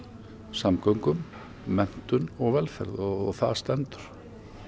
samgöngum menntun og velferð og það stendur